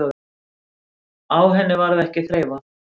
Á henni varð ekki þreifað.